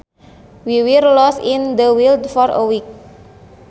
We were lost in the wild for a week